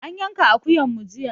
An yanka akuyan mu jiya.